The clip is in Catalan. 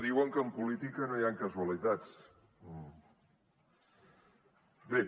diuen que en política no hi han casualitats bé